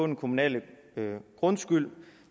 den kommunale grundskyld